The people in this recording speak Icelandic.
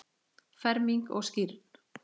Ferming og skírn.